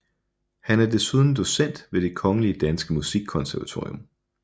Han er desuden docent ved Det Kongelige Danske Musikkonservatorium